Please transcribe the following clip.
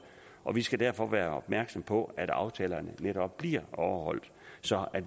og vi skal derfor være opmærksomme på at aftalerne netop bliver overholdt så